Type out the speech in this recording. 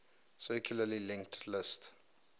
circularly linked list